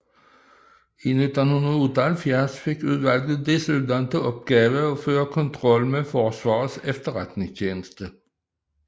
I 1978 fik udvalget desuden til opgave at føre kontrol med Forsvarets Efterretningstjeneste